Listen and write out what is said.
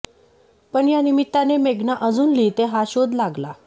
पण या निमित्ताने मेघना अजून लिहिते हा शोध लागला